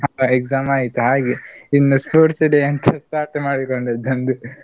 exam ಆಯ್ತ್ ಹಾಗೆ. ಇನ್ನು sports day Start ಮಾಡಿಕೊಂಡು.